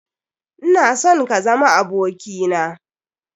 Ina son ka zama aboki na.